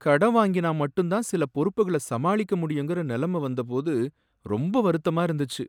கடன வாங்கினா மட்டும் தான் சில பொறுப்புகள சமாளிக்க முடியுங்கிற நிலைம வந்தபோது ரொம்ப வருத்தமா இருந்துச்சு.